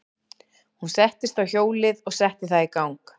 Hún settist á hjólið og setti það í gang.